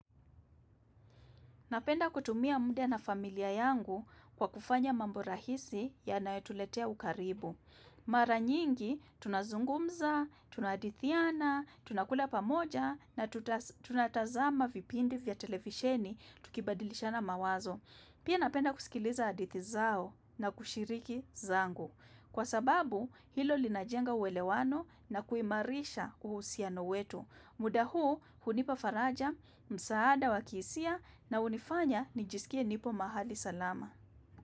Napenda kutumia muda na familia yangu kwa kufanya mambo rahisi yanayotuletea ukaribu. Mara nyingi tunazungumza, tunahadithiana, tunakula pamoja na tunatazama vipindi vya televisheni tukibadilishana mawazo. Pia napenda kusikiliza hadithi zao na kushiriki zangu. Kwa sababu, hilo linajenga uwelewano na kuimarisha uhusiano wetu. Muda huu hunipa faraja, msaada wa kihisia na hunifanya nijisikie nipo mahali salama.